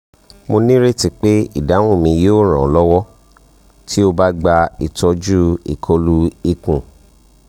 mo nireti pe idahun mi yoo ran ọ lọwọ ti o ba gba itọju ikolu kan